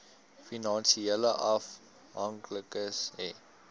finansiële afhanklikes hê